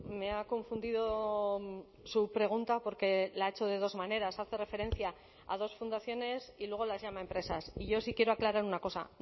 me ha confundido su pregunta porque la ha hecho de dos maneras hace referencia a dos fundaciones y luego las llama empresas y yo sí quiero aclarar una cosa